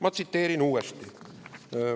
Ma.